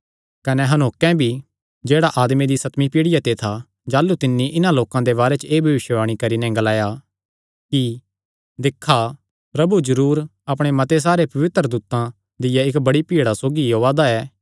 कने हनोके भी जेह्ड़ा आदमे दी सतमी पीढ़िया ते था जाह़लू तिन्नी इन्हां लोकां दे बारे च एह़ भविष्यवाणी करी नैं ग्लाया कि दिक्खा प्रभु जरूर अपणे मते सारे पवित्र दूतां दिया इक्क बड्डी भीड़ा सौगी ओआ दा ऐ